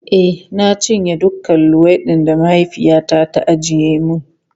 E, na cinye dukan luwaiɗin da mahaifiyata ta ajiye mun.